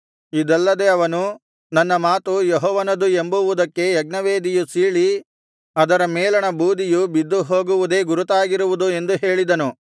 ಇದಲ್ಲದೆ ಅವನು ನನ್ನ ಮಾತು ಯೆಹೋವನದು ಎಂಬುವುದಕ್ಕೆ ಯಜ್ಞವೇದಿಯು ಸೀಳಿ ಅದರ ಮೇಲಣ ಬೂದಿಯು ಬಿದ್ದುಹೋಗುವುದೇ ಗುರುತಾಗಿರುವುದು ಎಂದು ಹೇಳಿದನು